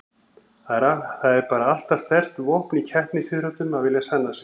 Það er bara alltaf sterkt vopn í keppnisíþróttum að vilja sanna sig.